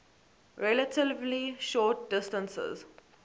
relatively short distances